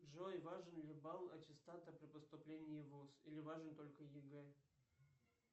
джой важен ли балл аттестата при поступлении в вуз или важен только ег